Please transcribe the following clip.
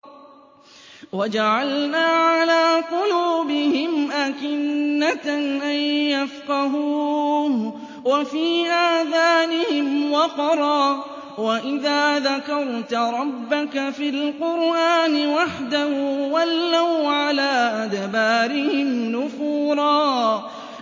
وَجَعَلْنَا عَلَىٰ قُلُوبِهِمْ أَكِنَّةً أَن يَفْقَهُوهُ وَفِي آذَانِهِمْ وَقْرًا ۚ وَإِذَا ذَكَرْتَ رَبَّكَ فِي الْقُرْآنِ وَحْدَهُ وَلَّوْا عَلَىٰ أَدْبَارِهِمْ نُفُورًا